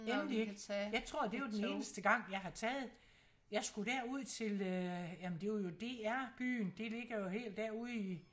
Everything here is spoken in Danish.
Endelig ikke jeg tror det var den eneste gang jeg har taget jeg skulle derud til øh jamen det var jo DR byen det ligger jo helt der ude i